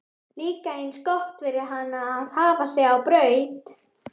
Líka eins gott fyrir hana að hafa sig á braut!